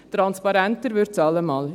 Transparenter wird es allemal.